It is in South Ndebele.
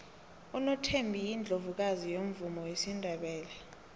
unothembi yiundlovukazi yomvumo wesindebele